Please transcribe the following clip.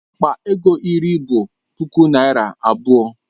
Akpa ego iri bụ puku naira abụọ.